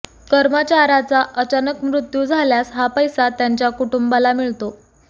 कर्मचाऱ्याचा अचानक मृत्यु झाल्यास हा पैसा त्यांच्या कुटुंबाला मिळतो